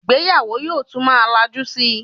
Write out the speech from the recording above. Ìgbéyàwó yóò tún má lajú síi